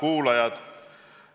Head kuulajad!